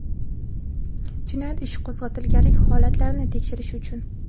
jinoyat ishi qo‘zg‘atilganlik holatlarini tekshirish uchun;.